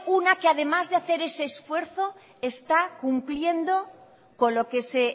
una que además de hacer ese esfuerzo está cumpliendo con lo que se